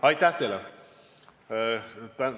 Aitäh!